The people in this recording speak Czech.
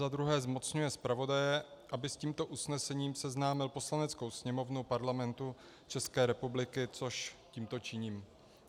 za druhé zmocňuje zpravodaje, aby s tímto usnesením seznámil Poslaneckou sněmovnu Parlamentu České republiky, což tímto činím.